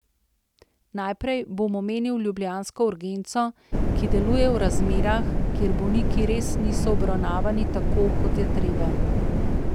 Najprej bom omenil ljubljansko urgenco, ki deluje v razmerah, kjer bolniki res niso obravnavani tako, kot je treba.